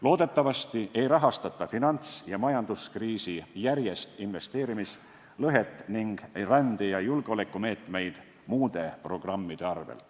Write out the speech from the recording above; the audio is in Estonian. Loodetavasti ei rahastata finants- ja majanduskriisi järgset investeerimislõhet ning rände- ja julgeolekumeetmeid muude programmide arvel.